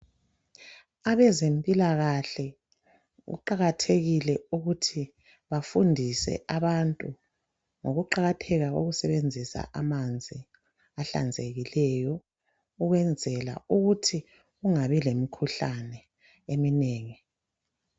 Abezempilakahle kuqakathekile ukuthi bafundise abantu ngokuqakatheka kokusebenzisa amanzi ahlanzekileyo ukwenzela ukuthi kungabi lemikhuhlane eminengi.